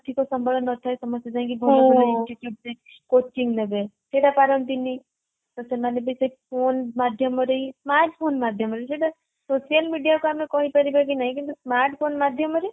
ଆର୍ଥିକ ସମ୍ବଳ ନଥାଏ ସମସ୍ତେ ଯାଇକି institute ରେ couching ନେବେ ସେଟା ପାରନ୍ତିନି ତ ସେମାନେ ବି ସେଇ phone ମାଧ୍ୟମରେ smart phone ମାଧ୍ୟମରେ ସେଟା social media କୁ ଆମେ କହିପାରିବା କି ନାହିଁ କିନ୍ତୁ smart phone ମାଧ୍ୟମରେ